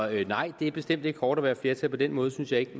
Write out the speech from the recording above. nej det er bestemt ikke hårdt at være et flertal på den måde synes jeg ikke at